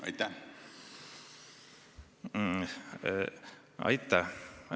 Aitäh!